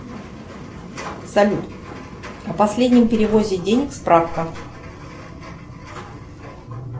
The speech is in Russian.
салют о последнем переводе денег справка